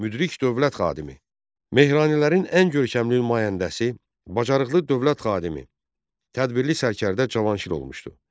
Müdrik dövlət xadimi, Mehranilərin ən görkəmli nümayəndəsi, bacarıqlı dövlət xadimi, tədbirli sərkərdə Cavanşir olmuşdu.